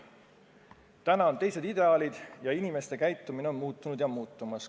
Nüüd on teised ideaalid ja inimeste käitumine on muutunud ja muutumas.